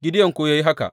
Gideyon kuwa ya yi haka.